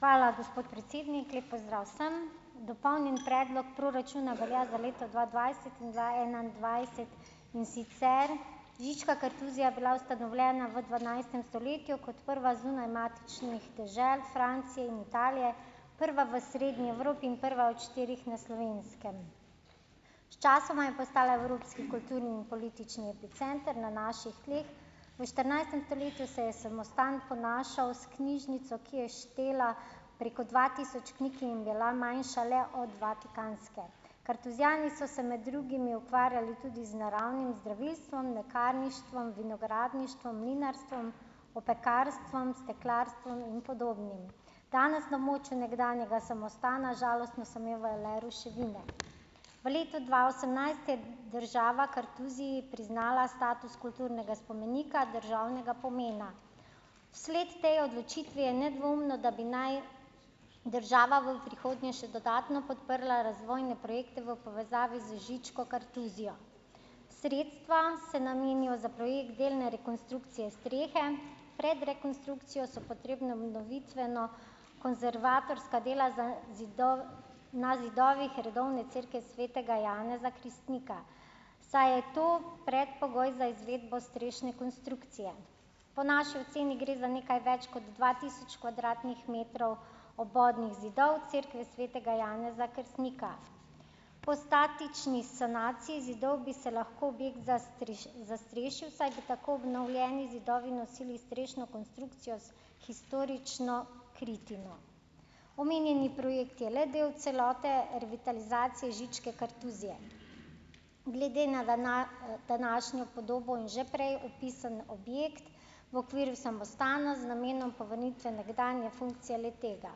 hvala, gospod predsednik. Lep pozdrav vsem. Dopolnjen predlog proračuna velja za leto dva dvajset in dva enaindvajset, in sicer Žička kartuzija bila ustanovljena v dvanajstem stoletju kot prva zunaj matičnih dežel Francije in Italije, prva v Srednji Evropi in prva od štirih na Slovenskem. Sčasoma je postala evropski kulturni in politični center na naših tleh. V štirinajstem stoletju se je samostan ponašal s knjižnico, ki je štela preko dva tisoč knjig in bila manjša le vatikanske. Kartuzijani so se med drugimi ukvarjali tudi z naravnim zdravilstvom, lekarništvom, vinogradništvom, mlinarstvom, opekarstvom, steklarstvom in podobnim. Danes na območju nekdanjega samostana žalostno samevajo le ruševine. V letu dva osemnajst je država Kartuziji priznala status kulturnega spomenika državnega pomena. Vsled tej odločitvi je nedvomno, da bi naj država v prihodnje še dodatno podprla razvojne projekte v povezavi z Žičko kartuzijo. Sredstva se namenijo za projekt delne rekonstrukcije strehe, pred rekonstrukcijo so potrebna obnovitveno- konzervatorska dela za na zidovih redovne cerkve svetega Janeza Krstnika, saj je to predpogoj za izvedbo strešne konstrukcije. Po naši oceni gre za nekaj več kot dva tisoč kvadratnih metrov obodnih zidov cerkve svetega Janeza Krstnika. Po statični sanaciji zidov bi se lahko objekt zastrešil, saj bi tako obnovljeni zidovi nosili strešno konstrukcijo s historično kritino. Omenjeni projekt je le del celote revitalizacije Žičke kartuzije. Glede na današnjo podobo in že prej opisan objekt v okviru samostana z namenom povrnitve nekdanje funkcije le-tega.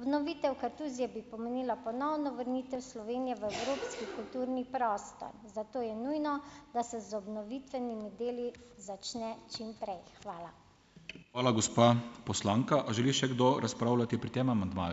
Obnovitev Kartuzije bi pomenila ponovno vrnitev Slovenije v evropski kulturni prostor, zato je nujno, da se z obnovitvenimi deli začne čimprej. Hvala. Hvala, gospa poslanka. A želi še kdo razpravljati pri tem amandmaju?